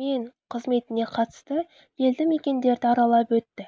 мен қызметіне қатысты елді мекендерді аралап өтті